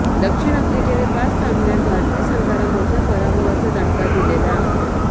दक्षिण आफ्रिकेने पाच सामन्यांत भारतीय संघाला मोठ्या पराभवांचा दणका दिलेला आहे